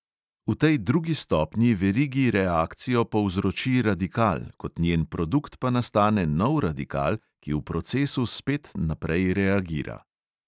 V tej drugi stopnji verigi reakcijo povzroči radikal, kot njen produkt pa nastane nov radikal, ki v procesu spet naprej reagira.